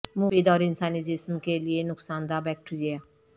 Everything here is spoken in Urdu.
مفید اور انسانی جسم کے لئے نقصان دہ بیکٹیریا